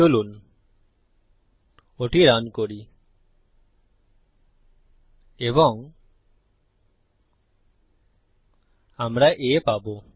চলুন ওটি রান করি এবং আমরা A পাবো